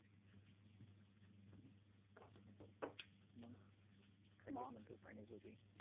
मग खालीच म्हटलं पाणीपुरी